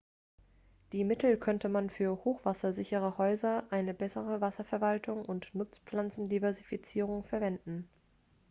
die mittel könnte man für hochwassersichere häuser eine bessere wasserverwaltung und nutzpflanzendiversifizierung verwenden